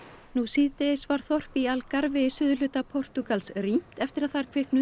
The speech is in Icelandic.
nú síðdegis var þorp í í suðurhluta Portúgal rýmt eftir að þar kviknuðu